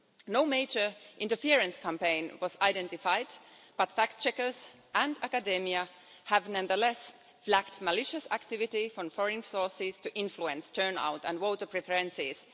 No major interference campaign was identified, but fact-checkers and academia have nonetheless flagged malicious activity from foreign sources to influence turnout and voter preferences.